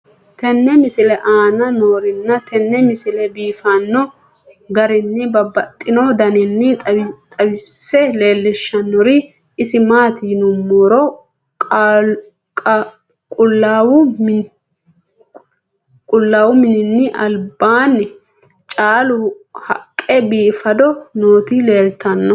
tenne misile aana noorina tini misile biiffanno garinni babaxxinno daniinni xawisse leelishanori isi maati yinummoro qulaawu minni alibaanni caalu haqqe biiffaddo nootti leelittanno